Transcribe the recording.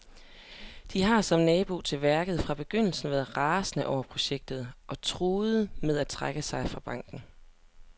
De har, som nabo til værket, fra begyndelsen været rasende over projektet og truer med at trække sig fra banken.